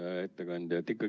Hea ettekandja!